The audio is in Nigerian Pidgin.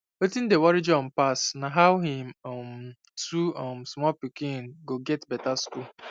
wetin dey worry john pass na how him um two um small pikin go get better school